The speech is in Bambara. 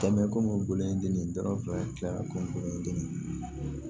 Kɛmɛ kɔnnɔngolo ye den ye dɔrɔmɛ fila tila kɔnɔndon ye den